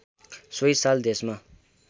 सोही साल देशमा